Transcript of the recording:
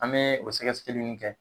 An be o sɛkɛsɛkɛli nunnu kɛ.